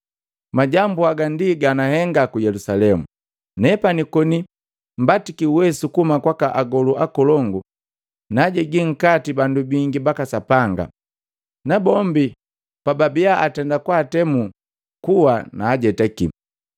Majambu haga ndi ga nagahenga ku Yelusalemu. Nepani, koni mbatiki uwesu kuhuma kwaka agolu akolongu, naajegi nkati bandu bingi baka Sapanga. Nabombi pababia atenda kwaatemu kuwa naajetaki.